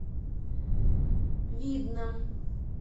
видном